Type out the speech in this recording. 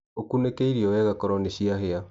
Ũkũnĩke irio wega koro nĩciahĩa.